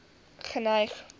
geneig